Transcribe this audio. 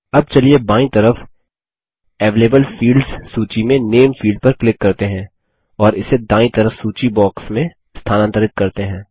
अब चलिए बायीं तरफ अवेलेबल फील्ड्स सूची में नामे फील्ड पर क्लिक करते हैं और इसे दायीं तरफ सूची बॉक्स में स्थानांतरित करते हैं